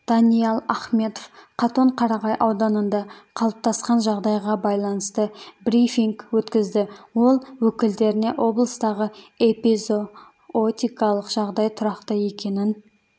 даниал ахметов катонқарағай ауданында қалыптасқан жағдайға байланысты брифинг өткізді ол өкілдеріне облыстағы эпизоотикалық жағдай тұрақты екенін